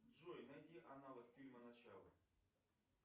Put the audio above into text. джой найди аналог фильма начало